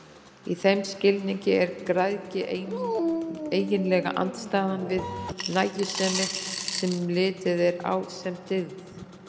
Í þeim skilningi er græðgi eiginlega andstæðan við nægjusemi, sem litið er á sem dygð.